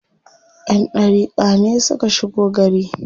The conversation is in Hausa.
Ƴan ɗariƙa ne suka shigo gari.